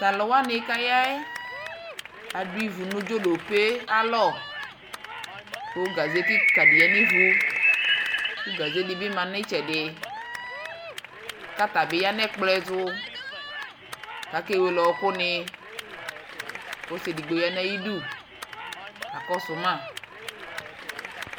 Tʊ alʊwani kʊ aya yɛ adʊ ivu nʊ ivudini ayʊ alɔ, kʊ awɛ be dɩ yǝ nivu, kʊ awɛ dɩ bɩ lɛ nʊ itsɛdɩ, kʊ atabɩ ya nʊ ɛkplɔ ɛtʊ, kʊ akewele ɔɔkʊnɩ, kʊ ɔsi edigbo ya nʊ ayidu, kakɔsʊ mă,